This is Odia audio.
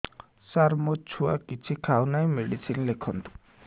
ସାର ମୋ ଛୁଆ କିଛି ଖାଉ ନାହିଁ ମେଡିସିନ ଲେଖନ୍ତୁ